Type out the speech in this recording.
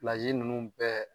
ninnu bɛɛ